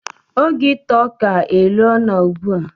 Oge ita ọka elo na ugbua